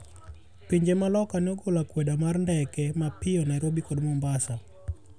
Pinje ma loka ne ogolo akwede mar ndeke mapio Nairobi kod Mombasa.